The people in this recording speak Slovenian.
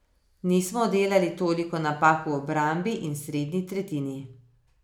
Nismo delali toliko napak v obrambi in srednji tretjini.